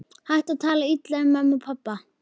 Hættu að tala illa um mömmu og pabba!